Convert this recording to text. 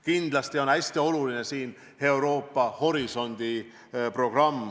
Kindlasti on hästi oluline programm "Euroopa horisont".